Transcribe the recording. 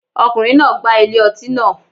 Ọkùnrin náà gbá ilé ọtí naa